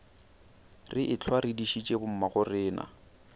re ehlwa re dišitše bommagorena